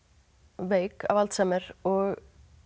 veik af Alzheimer og